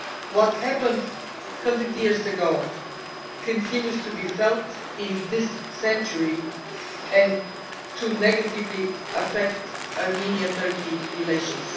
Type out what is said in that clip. What happened a hundred years ago continues to be felt in this century and to negatively affect Armenian Turkish relations.